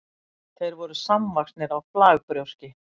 þeir voru samvaxnir á flagbrjóski